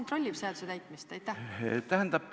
Kes kontrollib seaduse täitmist?